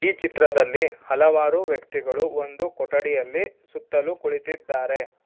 ಈ ಚಿತ್ರದಲ್ಲಿ ಹಲವಾರು ವ್ಯಕ್ತಿಗಳು ಒಂದು ಕೊಠಡಿಯಲ್ಲಿ ಸುತ್ತಲು ಕುಳಿತಿದ್ದಾರೆ.